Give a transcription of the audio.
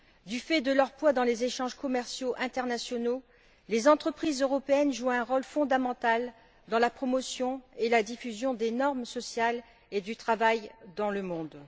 Du fait de leur poids dans les échanges commerciaux internationaux, les entreprises européennes jouent un rôle fondamental dans la promotion et la diffusion des normes sociales et des normes du travail dans le monde.